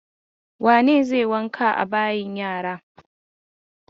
Wane ne zai wanka a bayin yara?